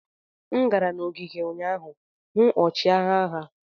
M gara n'ogige ụnyaahụ hụ ọchịagha ha.